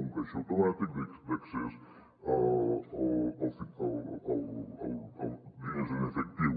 un caixer automàtic d’accés a diners en efectiu